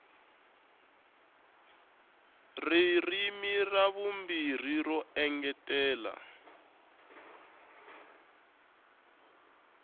ririmi ra vumbirhi ro engetela